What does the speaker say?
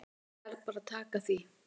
Ég verð bara að taka því.